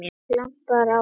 Það glampar á eitthvað!